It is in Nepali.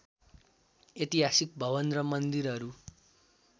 ऐतिहासिक भवन र मन्दिरहरू